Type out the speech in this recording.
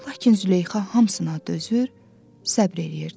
Lakin Züleyxa hamısına dözür, səbr eləyirdi.